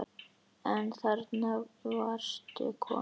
En þarna varstu komin!